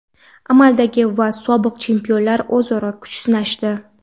Amaldagi va sobiq chempionlar o‘zaro kuch sinashdi.